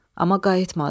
Amma qayıtmadı.